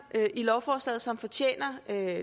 i lovforslaget som fortjener